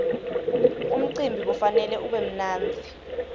umcimbi kufanele ube mnandzi